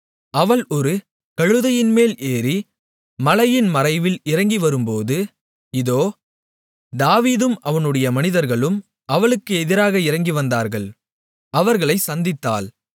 அவள் ஒரு கழுதையின்மேல் ஏறி மலையின் மறைவில் இறங்கிவரும்போது இதோ தாவீதும் அவனுடைய மனிதர்களும் அவளுக்கு எதிராக இறங்கி வந்தார்கள் அவர்களைச் சந்தித்தாள்